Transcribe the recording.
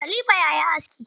Kalifa yayi aski.